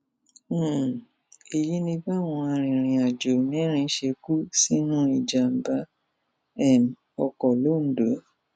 um èyí ni báwọn arìnrìnàjò mẹrin ṣe kú sínú ìjàmbá um ọkọ londo